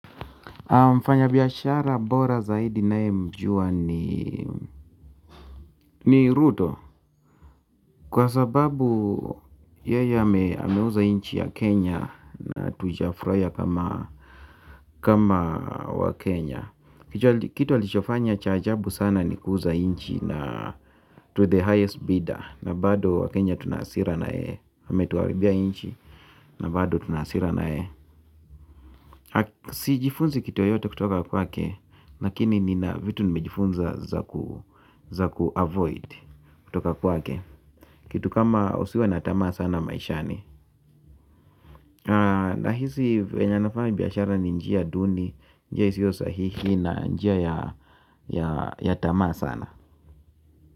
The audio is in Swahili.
Mfanya biashara bora zaidi naye mjua ni ruto. Kwa sababu yeye ameuza inchi ya Kenya na tujafurahia kama wa Kenya. Kitu alichofanya cha ajabu sana ni kuuza inchi na to the highest bidar. Na bado wakenya tunahasira naye ametuharibia inchi na bado tunahasira naye. Sijifunzi kitu yoyote kutoka kwake. Lakini nina vitu nimejifunza za ku avoid. Kitu kama usiwe na tamaa sana maishani. Nahisi venye anafanya biashara ni njia duni. Njia isiyo sahihi na njia ya tamaa sana.